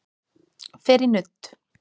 Fer í nudd